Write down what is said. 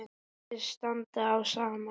Virðist standa á sama.